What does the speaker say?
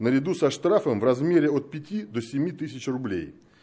наряду со штрафом в размере от пяти до семи тысяч рублей